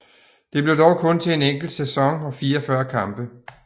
Det blev dog kun til en enkelt sæson og 44 kampe